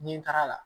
Nin taara la